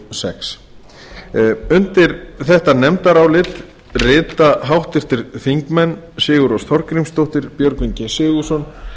sex einar már sigurðarson var fjarverandi við afgreiðslu málsins undir þetta nefndarálit rita háttvirtir þingmenn sigurrós þorgrímsdóttir björgvin g sigurðsson